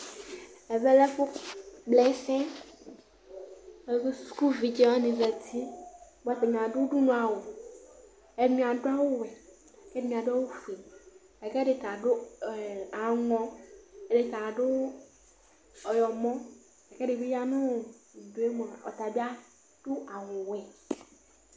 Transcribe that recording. Ɛvɛlɛ ɛfʋ kplaɛsɛ sʋkʋvidzewani zati bʋa atani adʋ ʋdʋnʋ awʋ Ɛdini adʋ awʋwɛ, ɛdini adʋ awʋfue, lakʋ ɛdita adʋ amɔ, ɛdita adʋ ɔyɔmɔ, kʋ ɛdibi yanʋ ʋdʋ yɛ mʋa ɔtadi adʋ awʋwɛ